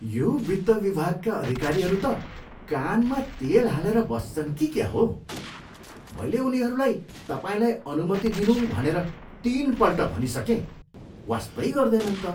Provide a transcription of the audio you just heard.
यो वित्त विभागका अधिकारीहरू त कानमा तेल हालेर बस्छन् कि क्या हो? मैले उनीहरूलाई तपाईँलाई अनुमति दिनु भनेर तिनपल्ट भनिसकेँ, वास्तै गर्दैनन् त।